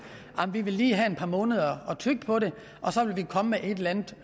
vi vil lige have et par måneder at tygge på det og så vil vi komme med et eller andet